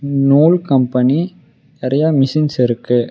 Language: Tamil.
நூல் கம்பெனி நறைய மெஷின்ஸ் இருக்கு.